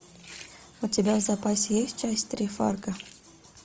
у тебя в запасе есть часть три фарго